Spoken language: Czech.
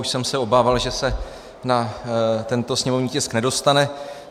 Už jsem se obával, že se na tento sněmovní tisk nedostane.